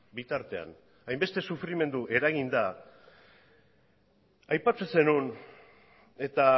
bitartean hainbeste sufrimendu eragin da aipatzen zenuen eta